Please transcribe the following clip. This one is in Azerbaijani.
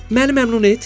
Məni məmnun et!